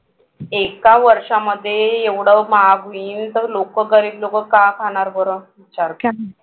एका वर्षामध्ये एवढं महाग होईन तर लोकं गरीब लोकं काय खाणार बरं